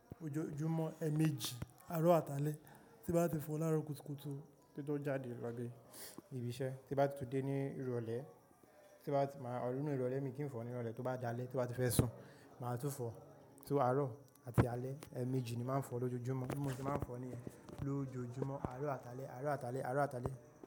Ojoojumọ ẹmeeji, aro atalẹ ti ba ti fo laro kutukutu, kin tó jade lọle ní ibi iṣẹ, ti ba tu tu de ni irọlẹ, ti ba ti ma, ninu irọlẹ mi kii n fo ni irọlẹ to ba dalẹ ti ba ti fẹ sun, ma tun fo, so aro ati alẹ, ẹmeeji ni ma n fo lojoojumọ bi mò se ma n fo ni yẹn, lojoojumọ aro atalẹ, aro atalẹ, aro atalẹ.